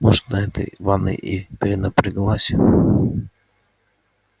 может на этой ванной и перенапряглась